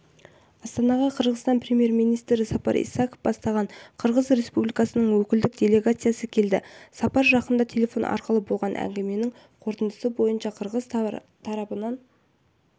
астанаға қырғызстан премьер-министрі сапар исаков бастаған қырғыз республикасының өкілдік делегациясы келді сапар жақында телефон арқылы болған әңгіменің қорытындысы бойынша қырғыз тарабының